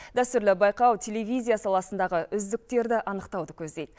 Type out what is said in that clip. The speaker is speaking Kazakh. дәстүрлі байқау телевизия саласындағы үздіктерді анықтауды көздейді